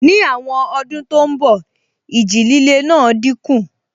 Ní àwọn ọdún tó n bọ̀, ìjì líle náà dínkù